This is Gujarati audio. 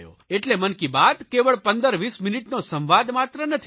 એટલે મન કી બાત કેવળ 15 20 મીનીટનો સંવાદ માત્ર નથી